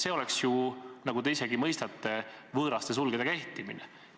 See on ju, nagu te ise ka mõistate, enda võõraste sulgedega ehtimine.